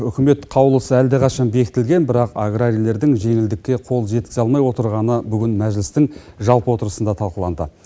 үкімет қаулысы әлдеқашан бекітілген бірақ аграрийлердің жеңілдікке қол жеткізе алмай отырғаны бүгін мәжілістің жалпы отырысында талқыланды